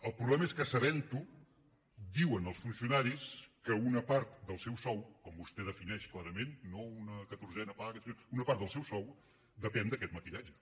el problema és que sabent ho diuen als funcionaris que una part del seu sou com vostè defineix clarament no una catorzena paga una part del seu sou depèn d’aquest maquillatge